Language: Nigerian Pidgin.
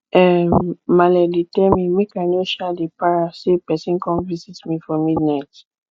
um maale dey tell me make i no um dey para sey person come visit me for midnight